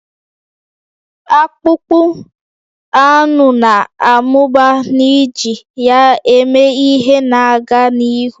Akpụkpọ anụ na-amụba n'iji ya eme ihe na-aga n'ihu